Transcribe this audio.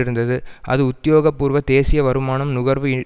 இருந்தது அது உத்தியோகபூர்வ தேசிய வருமானம் நுகர்வு